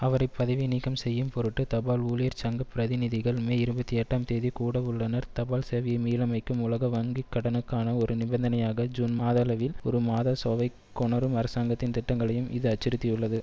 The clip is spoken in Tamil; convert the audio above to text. அவரை பதவி நீக்கம்செய்யும் பொருட்டு தபால் ஊழியர்சங்கப் பிரதிநிதிகள் மே இருபத்தி எட்டாம் தேதி கூடவுள்ளனர் தபால் சேவையை மீளமைக்கும் உலகவங்கிகடனுக்கான ஒரு நிபந்தனையாக ஜூன்மாதளவில் ஒரு மதசோவைக் கொணரும் அரசாங்கத்தின் திட்டங்களையும் இதுஅச்சுறுத்தியுள்ளது